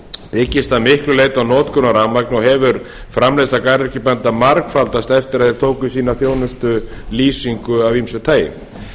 byggist að miklu leyti á notkun á rafmagni og hefur framleiðsla garðyrkjubænda margfaldast eftir að þeir tóku í sína þjónustu lýsingu af ýmsu tagi